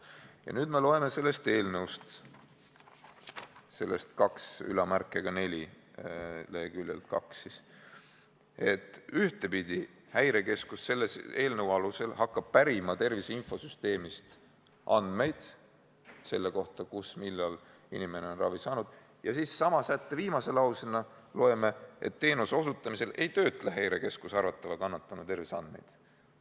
Ja nüüd me loeme sellest eelnõust –§ 1 lõike 12 punktist 24, leheküljel 2 –, et ühtepidi hakkab Häirekeskus selle eelnõu alusel pärima tervise infosüsteemist andmeid selle kohta, kus ja millal inimene on ravi saanud, aga sama sätte viimasest lausest loeme, et teenuse osutamisel ei töötle Häirekeskus arvatava kannatanu terviseandmeid.